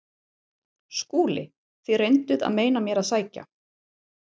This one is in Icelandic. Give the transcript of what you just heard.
SKÚLI: Þér reynduð að meina mér að sækja